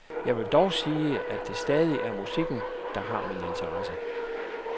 Jeg vil dog sige, at det stadig er musikken, der har min interesse.